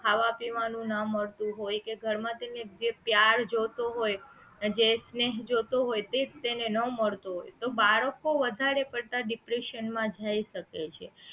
ખાવા પીવાનું ના મળતું હોય કે ઘર માં જે એને પ્યાર જોય તો હોય અને જે સ્નેહ જોયતો હોય એ સ્નેહ એને ના મળતો હોય તો બાળકો વધારે પડતા depression માં જય શકે છે